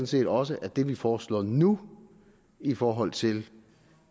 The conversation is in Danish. set også at det vi foreslår nu i forhold til